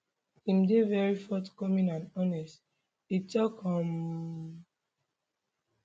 im dey very forthcoming and honest e tok um